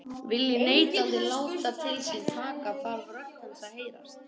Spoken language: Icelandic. Vilji neytandinn láta til sín taka þarf rödd hans að heyrast.